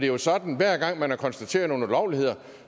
jo sådan at hver gang man har konstateret nogle ulovligheder